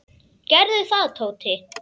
Gerðu það, Tóti.